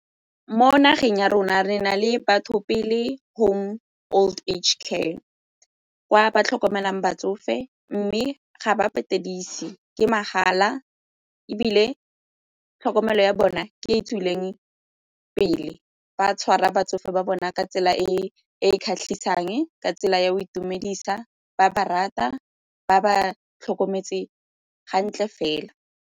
Mo nageng ya rona, re na le Batho Pele home old age care ba tlhokomelang batsofe mme ga ba patedise ke mahala ebile tlhokomelo ya bona ke e tswileng pele ba tshwara batsofe ba bona ka tsela e e kgatlhisang ka tsela ya go itumedisa, ba ba rata, ba ba tlhokometse hantle fela.